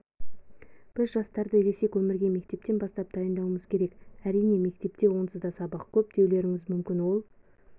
біз жастарды ересек өмірге мектептен бастап дайындауымыз керек әрине мектепте онсызда сабақ көп деулеріңіз мүмкін ол